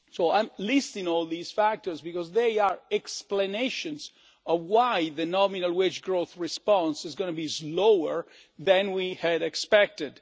I am listing all these factors, because they are explanations of why the nominal wage growth response is going to be lower than we had expected.